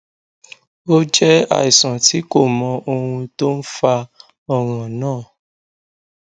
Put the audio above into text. ó jẹ àìsàn tí kò mọ ohun tó ń fa ọràn náà